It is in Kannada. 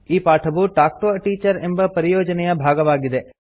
ಈ ಪಾಠವು ಟಾಲ್ಕ್ ಟಿಒ a ಟೀಚರ್ ಎಂಬ ಪರಿಯೋಜನೆಯ ಭಾಗವಾಗಿದೆ